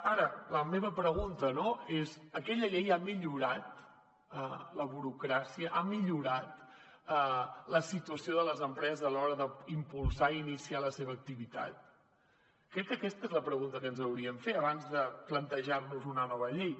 ara la meva pregunta no és aquella llei ha millorat la burocràcia ha millorat la situació de les empreses a l’hora d’impulsar i iniciar la seva activitat crec que aquesta és la pregunta que ens hauríem de fer abans de plantejar nos una nova llei